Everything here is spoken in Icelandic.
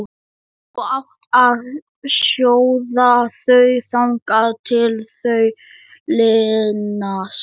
Þú átt að sjóða þau þangað til þau linast.